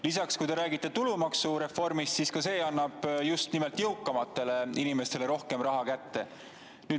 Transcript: Lisaks, kui te räägite tulumaksureformist, siis ka see annab just nimelt jõukamatele inimestele rohkem raha kätte.